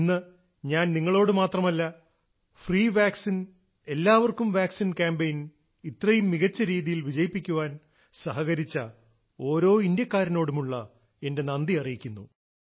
ഇന്ന് ഞാൻ നിങ്ങളോടു മാത്രമല്ല ഫ്രീ വാക്സിൻ എല്ലാവർക്കും വാക്സിൻ കാമ്പയിൻ ഇത്രയും മികച്ച രീതിയിൽ വിജയിപ്പിക്കാൻ സഹകരിച്ച ഓരോ ഇന്ത്യക്കാരനോടുമുള്ള എന്റെ നന്ദി അറിയിക്കുന്നു